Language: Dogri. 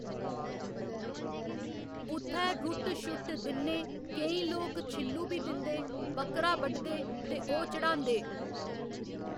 उत्थै रुट्ट शुट्ट दिन्नें केईं लोक छिल्लू बी दिंदे, बक्करा बढदे ते ओह् चढ़ांदे